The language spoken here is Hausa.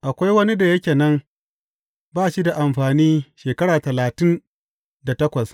Akwai wani da yake nan ba shi da amfani shekara talatin da takwas.